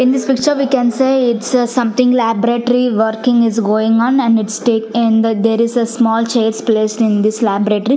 in this picture we can say it's a something laboratory working is going on and it's ta- in the there is a small chairs placed in this laboratory.